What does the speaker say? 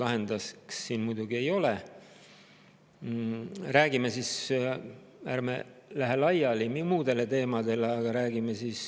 Räägime üldharidusest, ärme lähme laiali muudele teemadele.